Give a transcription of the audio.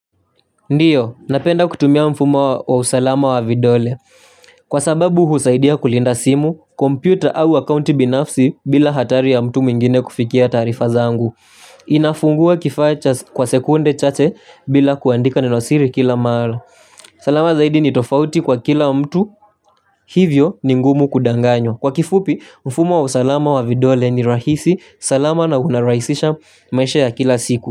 Ndiyo, napenda kutumia mfumo wa usalama wa vidole. Kwa sababu husaidia kulinda simu, kompyuta au akounti binafsi bila hatari ya mtu mwingine kufikia taarifa zangu. Inafungua kifaa cha kwa sekunde chache bila kuandika nenosiri kila mahalo. Salama zaidi ni tofauti kwa kila mtu, hivyo ni ngumu kudanganyo. Kwa kifupi, mfumo wa usalama wa vidole ni rahisi, salama na unarahisisha maisha ya kila siku.